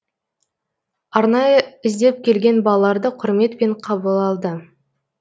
арнайы іздеп келген балаларды құрметпен қабыл алды